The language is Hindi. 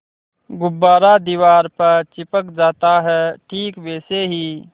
गुब्बारा दीवार पर चिपक जाता है ठीक वैसे ही